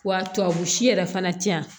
Wa tubabu si yɛrɛ fana tɛ yan